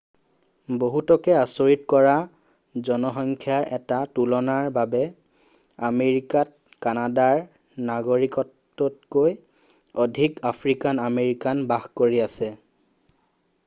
বহুতকে আচৰিত কৰা জনসংখ্যাৰ এটা তুলনাৰ বাবে আমেৰিকাত কানাডাৰ নাগৰিকতকৈ অধিক আফ্ৰিকান আমেৰিকানে বাস কৰি আছে